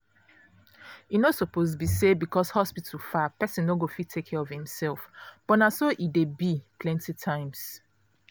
e no suppose be say because hospital far person no go fit take care of himself but na so e dey be plenty times.